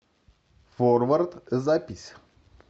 форвард запись